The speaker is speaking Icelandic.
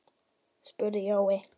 spurði Jói.